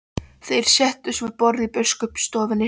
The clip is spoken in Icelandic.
Þeir settust við borð í biskupsstofunni.